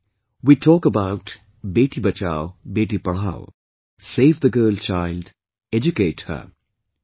Today, we talk about 'Beti Bachao, Beti Padhao', 'save the girl child, educate her'